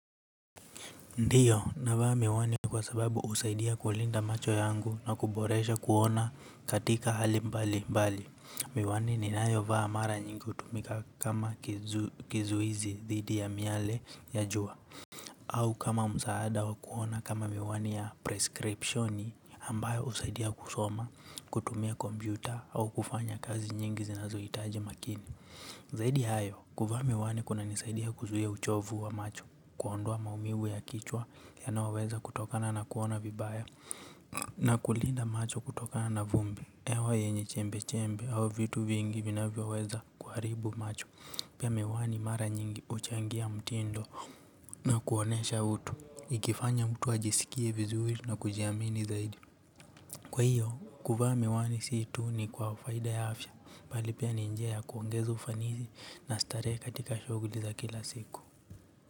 Ndiyo, navaa miwani kwa sababu husaidia kulinda macho yangu na kuboresha kuona katika hali mbali mbali. Miwani ninayovaa mara nyingi hutumika kama kizu kizuizi dhidi ya miale ya jua. Au kama msaada wakuona kama miwani ya prescripshoni ambayo usaidia kusoma, kutumia kompyuta au kufanya kazi nyingi zinazohitaji makini. Zaidi hayo, kuvaa miwani kunanisaidia kuzuia uchovu wa macho kuondoa maumivu ya kichwa yanaoweza kutokana na kuona vibaya. Na kulinda macho kutokana na vumbi hewa yenye chembechembe, au vitu vingi vinavyoweza kuharibu macho. Pia miwani mara nyingi huchangia mtindo na kuonesha utu ikifanya mtu ajisikie vizuri na kujiamini zaidi kwa hiyo, kuvaa miwani si tu ni kwa faida ya afya bali pia ni njia ya kuongeza ufanisi na starehe katika shughuli za kila siku.